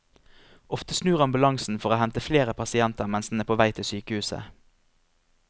Ofte snur ambulansen for å hente flere pasienter mens den er på vei til sykehuset.